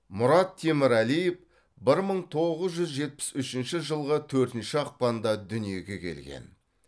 мұрат темірәлиев бір мың тоғыз жүз жетпіс үшінші жылғы төртінші ақпанда дүниеге келген